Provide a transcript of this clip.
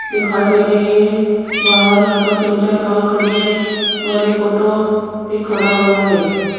दिखाई दे रही है बाहर यहां पर तीन चार कार खड़ी है और एक ऑटो भी खड़ा हुआ है।